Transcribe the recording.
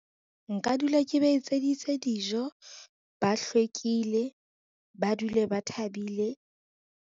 Nka dula ke ba etseditse dijo, ba hlwekile, ba dule ba thabile.